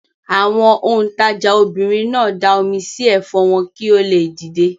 Àwọn òǹtajà obìnrin náà da omi sí ẹ̀fọ́ wọn kí ó le dìde.